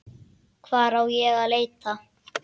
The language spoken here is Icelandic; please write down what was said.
Hvar á ég að leita.